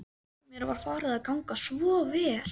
Mér var farið að ganga svo vel.